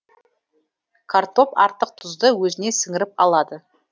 картоп артық тұзды өзіне сіңіріп алады